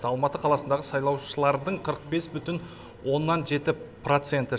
алматы қаласындағы сайлаушылардың қырық бес бүтін оннан жеті проценті